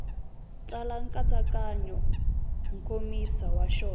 tsala nkatsakanyo nkomiso wa xona